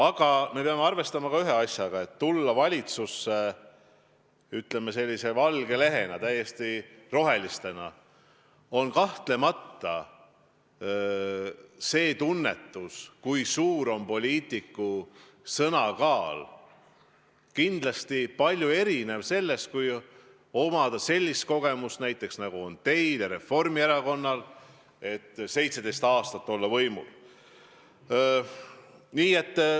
Aga me peame siin arvestama ühe asjaga: kui tullakse valitsusse sellise valge lehena, täiesti rohelisena, on tunnetus, kui suur on poliitiku sõna kaal, kahtlemata väga erinev sellest, kui omatakse niisugust kogemust, nagu on näiteks teil ja Reformierakonnal, kes on 17 aastat võimul olnud.